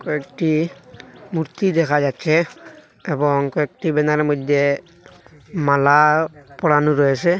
একটি মূর্তি দেখা যাচ্ছে এবং কয়েকটি ব্যানারের মইদ্যে মালা পরানো রয়েসে।